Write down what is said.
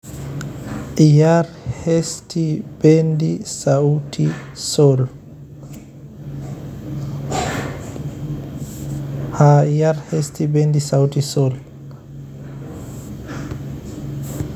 ciyar hesti bendi sauti sol